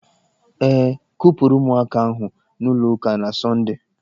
E kupụrụ ụmụaka ahụ n'ụlọ ụka na Sọndee.